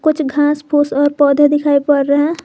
कुछ घास फूस और पौधे दिखाई पड़ रहे हैं।